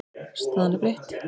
Staðan er breytt.